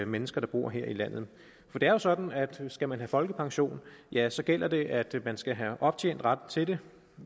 mennesker der bor her i landet for det er jo sådan at skal man have folkepension ja så gælder det at man skal have optjent ret til det